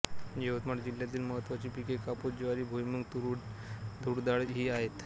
यवतमाळ जिल्ह्यातील महत्त्वाची पिके कापूस ज्वारी भुईमूग तूरडाळ ही आहेत